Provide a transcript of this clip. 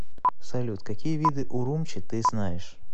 салют какие виды урумчи ты знаешь